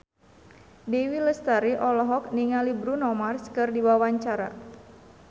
Dewi Lestari olohok ningali Bruno Mars keur diwawancara